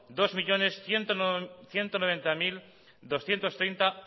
dos millónes ciento noventa mil doscientos treinta